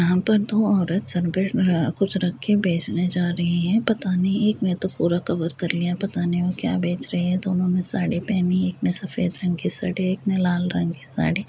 यहाँं पर दो औरत सर पर कुछ रखे बेचने जा रही है पता नहीं एक ने तो पूरा कवर कर लिया है पता नहीं वह क्या बेच रही है। दोनों ने साड़ी पहनी है एक ने सफेद रंग की साड़ी एक ने लाल रंग की साड़ी --